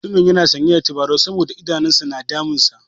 Mutumin yana sanye da tabarau saboda idanun sa na damunsa.